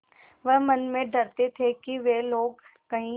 वह मन में डरते थे कि वे लोग कहीं